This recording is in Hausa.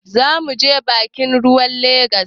Za mu je bakin ruwan Legas.